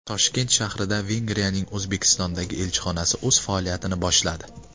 Toshkent shahrida Vengriyaning O‘zbekistondagi elchixonasi o‘z faoliyatini boshladi .